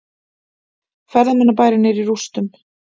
Ferðamannabærinn er í rústum